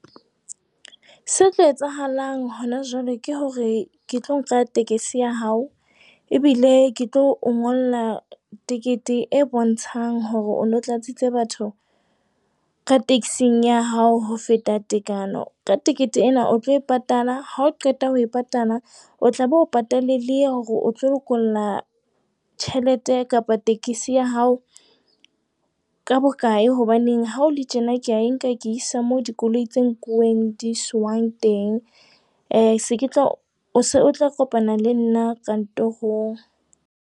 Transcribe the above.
Se tlo etsahalang hona jwale ke hore ke tlo nka tekesi ya hao. Ebile ke tlo o ngolla tekete e bontshang hore o no tlatsitse batho ka taxing ya hao ho feta tekano. Ka tekete ena o tlo e patala, ha o qeta ho e patala o tlabe o patale le hore o tlo lokolla tjhelete kapa tekesi ya hao ka bokae. Hobaneng ha hole tjena ke a e nka, ke isa mo dikoloi tse nkuweng di iswang teng. Eh se ke tla kopana le nna kantorong.